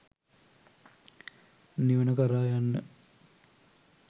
නිවන කරා යන්න